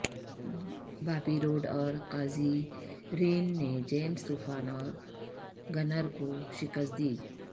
بابی Roode اور Kazarian نے James طوفان اور گنر کو شکست دی